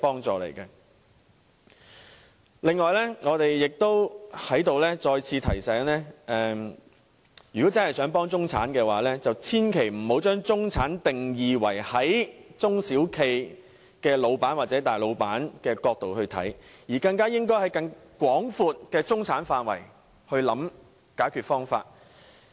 此外，我在此再次提醒大家，如果真的想幫助中產，便千萬不要只站在中小企老闆或大老闆的角度為中產下定義，而應在更廣闊的中產範圍內作出考慮。